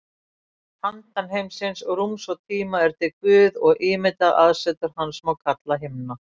Handan heimsins, rúms og tíma, er til Guð og ímyndað aðsetur hans má kalla himna.